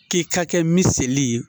K'i ka kɛ miseli ye.